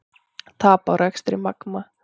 Tap á rekstri Magma